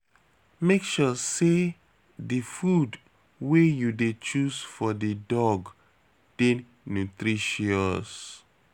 Make sure sey di food wey you dey choose for di dog dey nutritious.